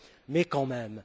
Mais quand même!